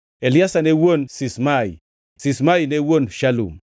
Eliasa ne wuon Sismai, Sismai ne wuon Shalum,